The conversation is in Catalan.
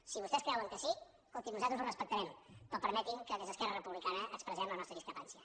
si vostès creuen que sí escolti nosaltres ho respectarem però permetin que des d’esquerra republicana expressem la nostra discrepància